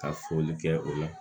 Ka foli kɛ o la